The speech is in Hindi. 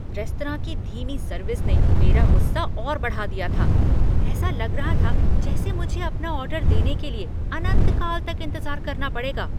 रेस्तरां की धीमी सर्विस ने मेरा गुस्सा और बढ़ा दिया था। ऐसा लग रहा था जैसे मुझे अपना ऑर्डर देने के लिए अनंत काल तक इंतज़ार करना पड़ेगा।